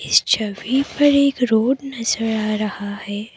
इस छवि पर एक रोड नजर आ रहा है।